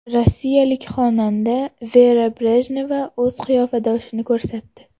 Rossiyalik xonanda Vera Brejneva o‘z qiyofadoshini ko‘rsatdi.